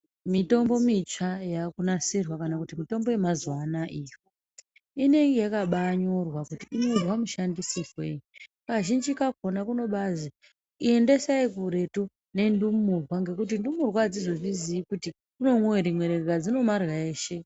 Mitombo mitsva yaakunasirwa kana mitombo yamazuwaanaya iyo inenge yakabaanyorwa kuti inoizwa mishandisirwei kazhinji kakonq kunobazwi endesai kuretu nendumurwa nekuti ndumurwa adzizozviziii kuti kunomwiwa rimwe rega dzinomarya eshe.